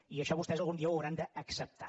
i això vostès algun dia ho hauran d’acceptar